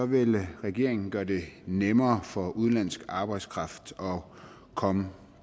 vil regeringen gøre det nemmere for udenlandsk arbejdskraft at komme